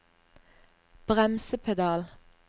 bremsepedal